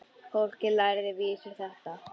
Fólkið lærði vísur þeirra.